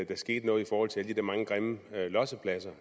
der skete noget i forhold til alle de der mange grimme lossepladser